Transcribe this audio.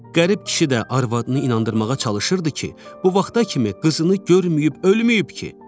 Qərib kişi də arvadını inandırmağa çalışırdı ki, bu vaxta kimi qızını görməyib ölməyib ki.